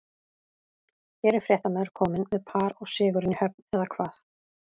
Hér er fréttamaður kominn með par og sigurinn í höfn, eða hvað?